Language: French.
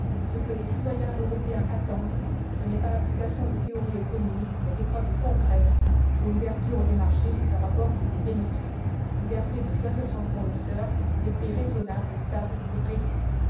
Ce que les citoyens européens attendent, ce n'est pas l'application de théories économiques, mais des preuves concrètes que l'ouverture des marchés leur apporte des bénéfices la liberté de choisir son fournisseur, des prix raisonnables, stables et prévisibles.